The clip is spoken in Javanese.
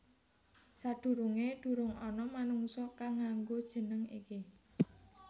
Sadurungé durung ana manungsa kang nganggo jeneng iki